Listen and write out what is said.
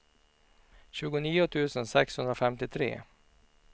tjugonio tusen sexhundrafemtiotre